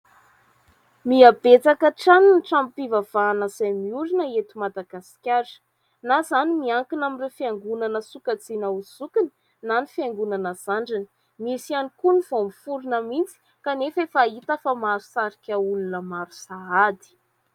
Miha betsaka hatrany ny tranom-pivavahana izay mihorina eto Madagasikara; na izany miankina amin'ireo fiangonana sokajiana ho zokiny na ny fiangonana zandriny. Misy ihany ny koa ny vao miforina mihitsy kanefa efa hita fa mahasarika olona maro sahady.